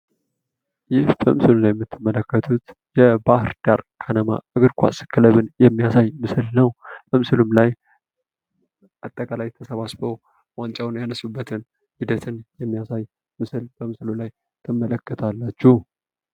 ይህ በምስሉ ላይ የምትመለከቱት የባህርዳር ከነማ እግርኳስ ክለብን የሚያሳይ ምስል ነው። በምስሉም ላይ አጠቃላይ ተሰባስበው ዋንጫዉን ያነሱበት ሂደትን የሚያሳይ በምስሉ ላይ ትመለከታላችሁ።